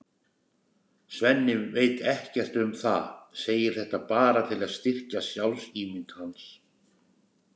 Svenni veit ekkert um það, segir þetta bara til að styrkja sjálfsímynd hans.